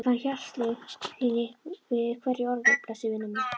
Ég fann hjartaslög þín í hverju orði, blessuð vina mín.